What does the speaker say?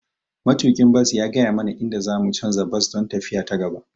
Matuƙin bas ya gaya mana inda za mu canza bas don tafiya ta gaba.